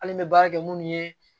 Hali n bɛ baara kɛ minnu ye